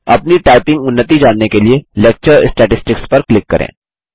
अपनी टाइपिंग उन्नति जानने के लिए लेक्चर स्टैटिस्टिक्स पर क्लिक करें